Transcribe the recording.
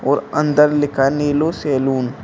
और अंदर लिखा है नीलू सैलून ।